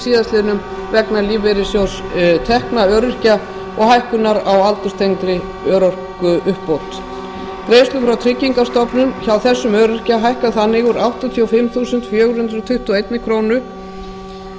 síðastliðnum vegna lífeyrissjóðstekna öryrkja og hækkunar á aldurstengdri örorkuuppbót greiðslur frá tryggingastofnun hjá þessum öryrkja hækka þannig úr áttatíu og fimm þúsund fjögur hundruð tuttugu og eitt krónum